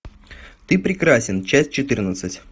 ты прекрасен часть четырнадцать